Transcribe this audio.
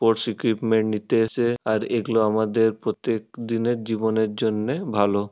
Sports equipment নিতে এসে। আর এগুলো আমাদের প্রত্যেক দিনের জীবনের জন্যে ভালো।